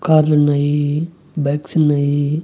కార్లున్నాయి బైక్సున్నాయి .